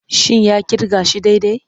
Shin ya kirga shi daidai?